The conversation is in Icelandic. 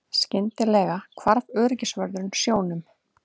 Skyndilega hvarf öryggisvörðurinn sjónum.